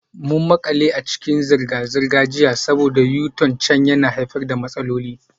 Mun makale a cikin zirga-zirga jiya saboda U-turn can yana haifar da matsaloli.